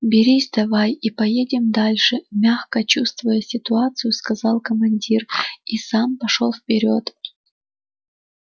берись давай и поедем дальше мягко чувствуя ситуацию сказал командир и сам пошёл вперёд